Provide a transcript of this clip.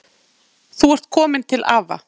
Þú ert komin til afa.